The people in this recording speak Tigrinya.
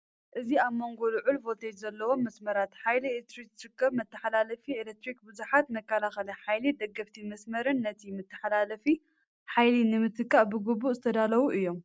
እዚ ኣብ መንጎ ልዑል ቮልቴጅ ዘለዎም መስመራት ሓይሊ ኤሌክትሪክ ዝርከብ መተሓላለፊ ኤሌክትሪክ። ብዙሓት መከላኸሊ ሓይሊን ደገፍቲ መስመርን ነቲ መተሓላለፊ ሓይሊ ንምትካእ ብግቡእ ዝተዳለዉ እዮም።